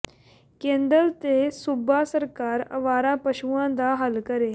ਕੇਂਦਰ ਤੇ ਸੂਬਾ ਸਰਕਾਰ ਆਵਾਰਾ ਪਸ਼ੂਆਂ ਦਾ ਹੱਲ ਕਰੇ